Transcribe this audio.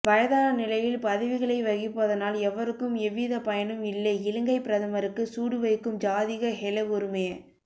வயதான நிலையில் பதவிகளை வகிப்பதனால் எவருக்கும் எவ்வித பயனும் இல்லை இலங்கைப் பிரதமருக்குச் சூடு வைக்கும் ஜாதிக ஹெல உறுமய